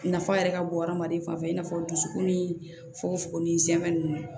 Nafa yɛrɛ ka bon hadamaden fan fɛ i n'a fɔ dusukun fogo ni zɛmɛn ninnu